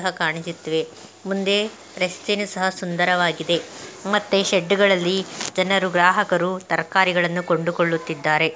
ಮುಂದೆ ರಸ್ತೆನು ಸಹ ಸುಂದರವಾಗಿದೆ ಮತ್ತೆ ಶೆಡ್ ಗಳಲ್ಲಿ ಜನರು ಗ್ರಾಹಕರು ತರಕಾರಿಗಳನ್ನು ಕೊಂಡುಕೊಳ್ಳುತ್ತಿದ್ದಾರೆ .